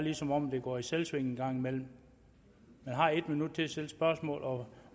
er som om det går i selvsving en gang imellem man har en minut til at stille spørgsmål og